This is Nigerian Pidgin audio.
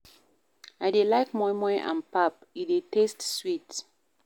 I dey like moi moi and pap, e dey taste sweet.